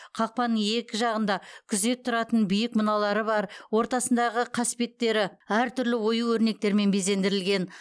қақпаның екі жағында күзет тұратын биік мұналары бар ортасындағы қаспеттері әр түрлі ою өрнектермен безендірілген